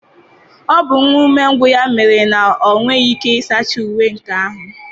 Ọ bụ nwa umengwụ ya mere na ọ nweghị ike ịsacha uwe nke ya